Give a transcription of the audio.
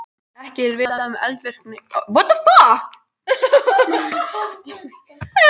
Gestheiður, stilltu niðurteljara á sjötíu og tvær mínútur.